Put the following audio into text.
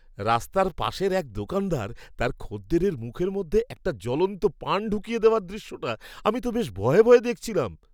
রাস্তার পাশের এক দোকানদার তার খদ্দেরের মুখের মধ্যে একটা জ্বলন্ত পান ঢুকিয়ে দেওয়ার দৃশ্যটা আমি তো বেশ ভয়ে ভয়ে দেখছিলাম!